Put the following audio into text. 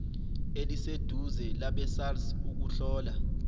eliseduze labesars ukuhlola